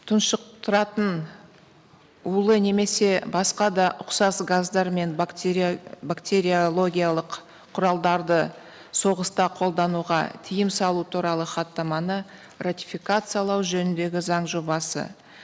тұншықтыратын улы немесе басқа да ұқсас газдармен бактериологиялық құралдарды соғыста қолдануға тыйым салу туралы хаттаманы ратификациялау жөніндегі заң жобасы